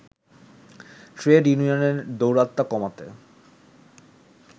trade ইউনিয়নের দৌরাত্ম্য কমাতে